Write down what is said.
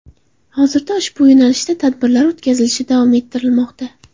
Hozirda ushbu yo‘nalishda tadbirlar o‘tkazilishi davom ettirilmoqda.